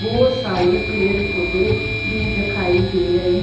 बहोत सारे पेड़ पौधे भी दिखाई दे रहें--